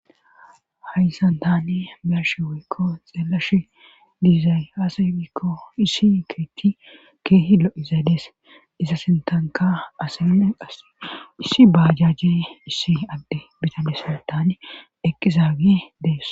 hayssan tani biyashe woykko xeelash diizay aasayikko issi keyti keehi lo7izaydees iza sintanka asame as issi baajajje issi adde bitalesson tane eqqizaagee dees